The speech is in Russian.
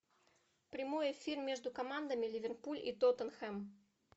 прямой эфир между командами ливерпуль и тоттенхэм